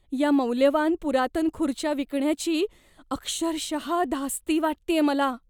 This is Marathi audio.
या मौल्यवान पुरातन खुर्च्या विकण्याची अक्षरशः धास्ती वाटतेय मला.